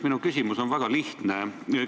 Minu küsimus on väga lihtne.